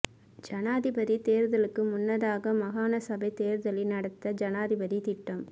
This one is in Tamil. ஜனாதிபதித் தேர்தலுக்கு முன்னதாக மாகாண சபைத் தேர்தலை நடத்த ஜனாதிபதி திட்டம்